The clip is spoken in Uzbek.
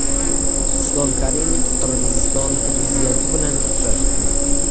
Islom Karimov Qirg‘iziston prezidenti bilan uchrashdi.